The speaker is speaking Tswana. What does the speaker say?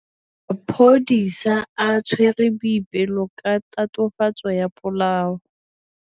Maphodisa a tshwere Boipelo ka tatofatsô ya polaô.